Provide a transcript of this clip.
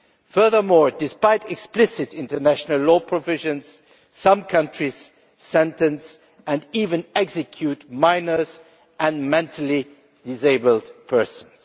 Furthermore, despite explicit international law provisions, some countries sentence and even execute minors and mentally disabled persons.